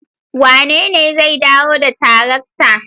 Wanene zai dawo da tarakta?